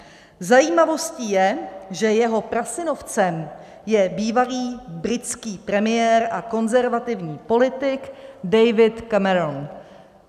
Zajímavostí je, že jeho prasynovcem je bývalý britský premiér a konzervativní politik David Cameron.